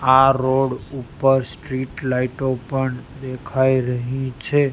આ રોડ ઉપર સ્ટ્રીટ લાઇટો પણ દેખાઈ રહી છે.